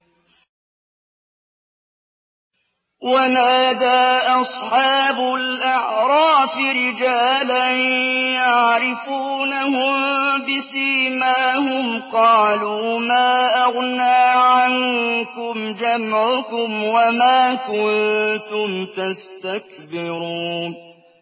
وَنَادَىٰ أَصْحَابُ الْأَعْرَافِ رِجَالًا يَعْرِفُونَهُم بِسِيمَاهُمْ قَالُوا مَا أَغْنَىٰ عَنكُمْ جَمْعُكُمْ وَمَا كُنتُمْ تَسْتَكْبِرُونَ